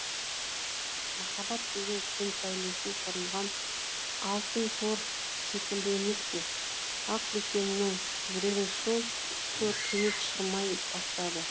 махаббат деген күн сәулесінен құрылған алтын тор секілді емес пе ақбөкеннің жүрегін сол тор кенет шырмай бастады